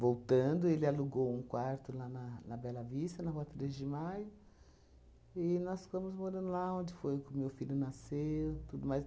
Voltando, ele alugou um quarto lá na na Bela Vista, na rua treze de maio, e nós ficamos morando lá, onde foi que o meu filho nasceu, tudo mais.